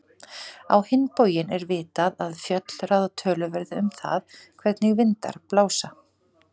Á hinn bóginn er vitað að fjöll ráða töluverðu um það, hvernig vindar blása.